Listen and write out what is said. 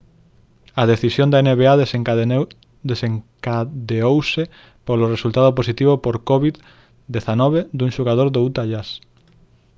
a decisión da nba desencadeouse polo resultado positivo por covid-19 dun xogador do utah jazz